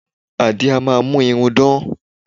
Àdín a máa mú irun dán